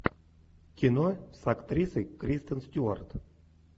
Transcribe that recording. кино с актрисой кристен стюарт